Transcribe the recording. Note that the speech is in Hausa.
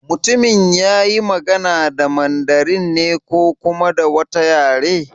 Mutumin yayi magana da Mandarin ne ko kuma da wata yare?